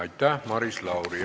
Aitäh, Maris Lauri!